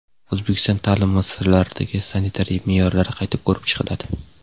O‘zbekiston ta’lim muassasalaridagi sanitariya me’yorlari qayta ko‘rib chiqiladi.